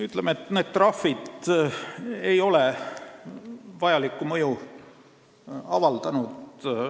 Ütleme nii, et need trahvid ei ole vajalikku mõju avaldanud.